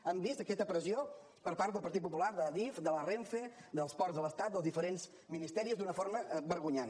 hem vist aquesta pressió per part del partit popular d’adif de la renfe dels ports de l’estat dels diferents ministeris d’una forma vergonyant